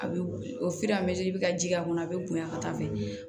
A bɛ o bɛ ka ji k'a kɔnɔ a bɛ bonya ka taa fɛ